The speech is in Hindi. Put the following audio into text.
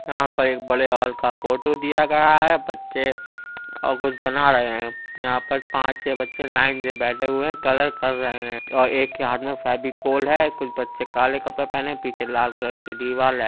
यहाँ पर एक बड़े हॉल का पोटो दिया गया है। बच्चे और कुछ बना रहे हैं। यहाँ पर पाँच छः बच्चे लाइन से बैठे हुए हैं। कलर कर रहे हैं और एक के हाथ में फेविकोल है। कुछ बच्चे काले कपड़े पहने हैं पीछे लाल कलर की दिवाल है।